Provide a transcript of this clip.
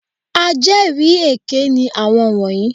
Ajẹ́rìí èké ni àwọn wọ̀nyí.